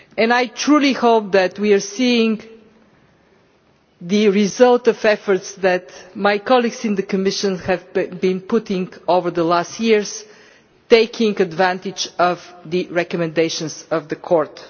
I truly hope that we are seeing the result of efforts that my colleagues in the Commission have been putting in over the last few years, taking advantage of the recommendations of the Court.